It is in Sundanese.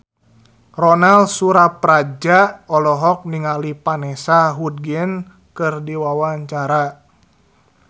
Ronal Surapradja olohok ningali Vanessa Hudgens keur diwawancara